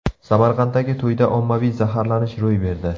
Samarqanddagi to‘yda ommaviy zaharlanish ro‘y berdi.